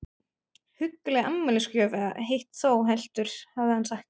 Hugguleg afmælisgjöf eða hitt þó heldur, hafði hann sagt.